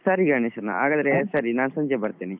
ಸರಿ ಗಣೇಶ್ ಸರಿ ನಾನ್ ಸಂಜೆ ಬರ್ತೇನೆ.